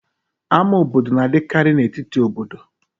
Ámá obodo na-adịkarị n'etiti obodo.